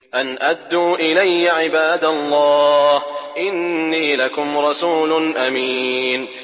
أَنْ أَدُّوا إِلَيَّ عِبَادَ اللَّهِ ۖ إِنِّي لَكُمْ رَسُولٌ أَمِينٌ